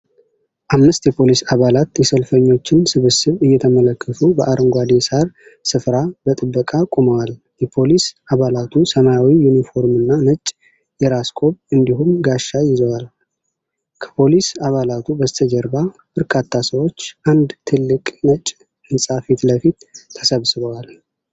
አምስት የፖሊስ አባላት የሰልፈኞችን ስብስብ እየተመለከቱ በአረንጓዴ ሳር ስፍራ በጥበቃ ቆመዋል። የፖሊስ አባላቱ ሰማያዊ ዩኒፎርምና ነጭ የራስ ቆብ እንዲሁም ጋሻ ይዘዋል። ከፖሊስ አባላቱ በስተጀርባ በርካታ ሰዎች አንድ ትልቅ ነጭ ሕንፃ ፊት ለፊት ተሰብስበዋል።